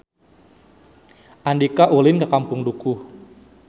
Andika ulin ka Kampung Dukuh